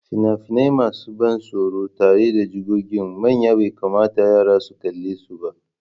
Fina-finai masu ban tsoro tare da jigogin manya bai kamata yara su kalle su ba.